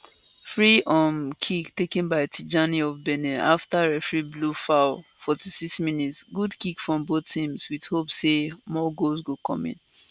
free um kick taken by tijani of benin afta referee blow foul 46mins good kick from both teams wit hope say more goals go come in